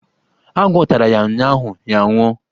Agwọ́ tara ya ụnyụahụ, ya a nwụọ.